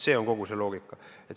See on kogu see loogika.